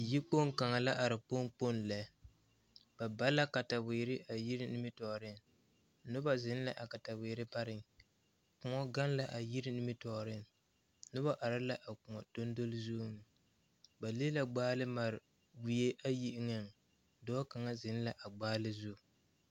Yikpoŋ kaŋa la are kpoŋ. kpoŋ lɛ ba ba la kataweere a yiri nimitɔɔreŋ noba zeŋ la a kataweere pare kõɔ gaŋ la a yiri nimitɔɔreŋ noba are la a kõɔ console zuŋ ba le la gbaal mare wie eŋaŋ dɔɔ kaŋ zeŋ la a gbaal zu.